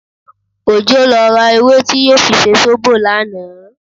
Òjó lọ ra ewé tí yóò fi ṣe zóbò lánàá